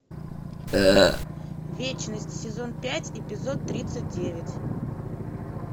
вечность сезон пять эпизод тридцать девять